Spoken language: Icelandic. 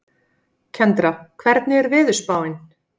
Kendra, hvernig er veðurspáin?